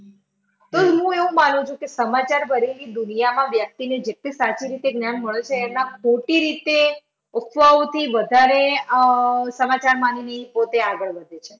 તો હું એવું માનું છું કે સમાચાર ભરેલી દુનિયામાં વ્યક્તિને જેટલી સાચી રીતે જ્ઞાન મળશે એમાં ખોટી રીતે અફવાઓથી વધારે અમ સમાચાર માંગી પોતે આગળ વધે છે.